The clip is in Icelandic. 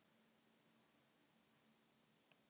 Fólk var af og til að koma í dyrnar og kíkja.